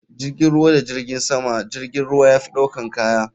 jirgin ruwa da jirgin sama jirgin ruwa yafi ɗaukan kaya.